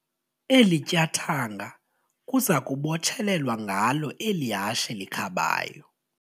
Eli tyathanga kuza kubotshelelwa ngalo eli hashe likhabayo.